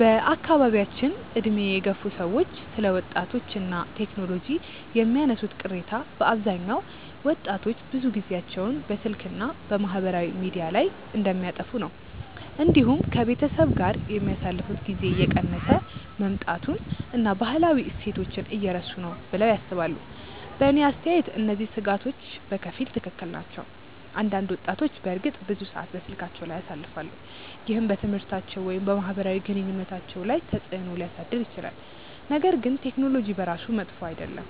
በአካባቢያችን ዕድሜ የገፉ ሰዎች ስለ ወጣቶች እና ቴክኖሎጂ የሚያነሱት ቅሬታ በአብዛኛው ወጣቶች ብዙ ጊዜያቸውን በስልክ እና በማህበራዊ ሚዲያ ላይ እንደሚያጠፉ ነው። እንዲሁም ከቤተሰብ ጋር የሚያሳልፉት ጊዜ እየቀነሰ መምጣቱን እና ባህላዊ እሴቶችን እየረሱ ነው ብለው ያስባሉ። በእኔ አስተያየት እነዚህ ስጋቶች በከፊል ትክክል ናቸው። አንዳንድ ወጣቶች በእርግጥ ብዙ ሰዓት በስልካቸው ላይ ያሳልፋሉ፣ ይህም በትምህርታቸው ወይም በማህበራዊ ግንኙነታቸው ላይ ተጽእኖ ሊያሳድር ይችላል። ነገር ግን ቴክኖሎጂ በራሱ መጥፎ አይደለም።